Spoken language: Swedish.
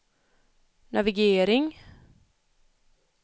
navigering